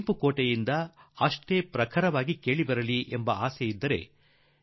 ಅವನ್ನು ಕೆಂಪುಕೋಟೆಯ ಮೇಲಿಂದ ಅಷ್ಟೇ ಪ್ರಖರತೆಯಿಂದ ಇಡಬೇಕೆಂದು ಅನಿಸಬಹುದು